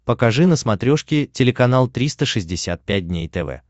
покажи на смотрешке телеканал триста шестьдесят пять дней тв